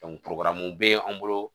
be an bolo